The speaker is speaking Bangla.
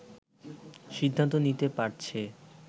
সিদ্ধান্ত দিতে পারছে